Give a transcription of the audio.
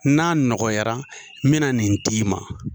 N'a nɔgɔyara n bɛna nin d'i ma.